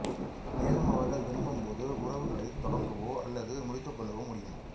மேலும் அவர்கள் விரும்பும் போது உறவுகளைத் தொடங்கவோ அல்லது முறித்துக் கொள்ளவோ முடியும்